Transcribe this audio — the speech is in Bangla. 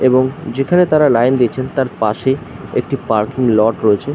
এবং যেখানে তারা লাইন দিয়েছে তারপাশে একটি পার্কিং লট রয়েছে--